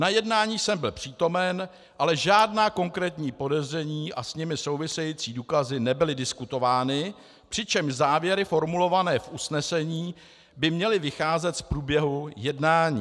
Na jednání jsem byl přítomen, ale žádná konkrétní podezření a s nimi související důkazy nebyly diskutovány, přičemž závěry formulované v usnesení by měly vycházet z průběhu jednání.